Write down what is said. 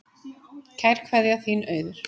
Kær kveðja, þín Auður